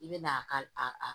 I bɛ na a ka a